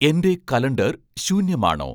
എന്റെ കലണ്ടർ ശൂന്യമാണോ